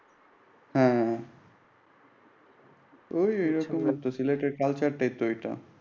হ্যাঁ ঐ এই রকমই সিলেটের culture এই রকমই।